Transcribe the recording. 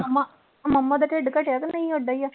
ਮੰਮਾ, mumma ਦਾ ਢਿੱਡ ਘਟਿਆ ਕਿ ਨਹੀਂ ਓਢਾ ਹੀ ਆ।